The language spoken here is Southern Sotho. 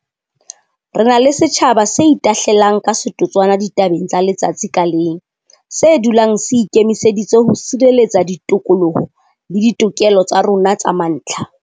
Re na le setjhaba se itahlelang ka setotswana ditabeng tsa letsatsi ka leng, se dulang se ikemiseditse ho sireletsa ditokoloho le ditokelo tsa rona tsa mantlha.